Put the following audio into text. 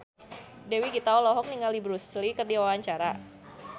Dewi Gita olohok ningali Bruce Lee keur diwawancara